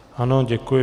Ano, děkuji.